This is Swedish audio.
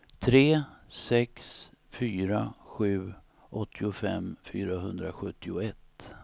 tre sex fyra sju åttiofem fyrahundrasjuttioett